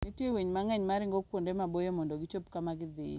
Nitie winy mang'eny ma ringo kuonde maboyo mondo gichop kama gidhiye.